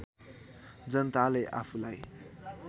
जनताले आफूलाई